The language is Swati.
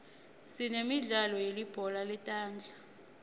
sinemidlalo yelibhola letandla